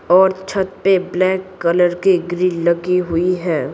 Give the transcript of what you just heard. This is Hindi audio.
और छत पे ब्लैक कलर की ग्रिल लगी हुई है।